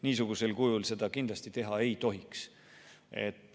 Niisugusel kujul seda kindlasti teha ei tohiks.